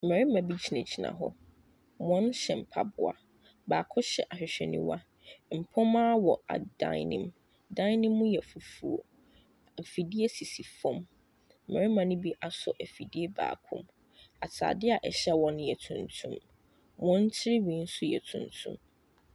Mmarima bi gyina gyina hɔ wɔn hyɛ mpaboa baako hyɛ hwehwɛniwa mpoma wɔ adan ne mu ɛdan no mu yɛ fufoɔ efidie sisi fom mmarima no bi aso afidie baako mu ataadeɛ ɛhyɛ wɔn nso yɛ tuntum wɔn tirenwi nso yɛ tuntum.